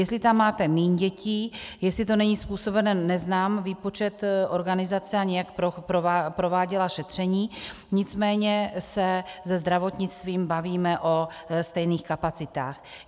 Jestli tam máte míň dětí, jestli to není způsobeno, neznám výpočet organizace, ani jak prováděla šetření, nicméně se se zdravotnictvím bavíme o stejných kapacitách.